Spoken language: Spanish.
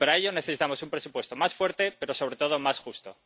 Y, para ello, necesitamos un presupuesto más fuerte, pero sobre todo más justo.